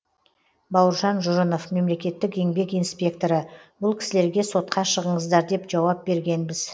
бауыржан жұрынов мемлекеттік еңбек инспекторы бұл кісілерге сотқа шығыңыздар деп жауап бергенбіз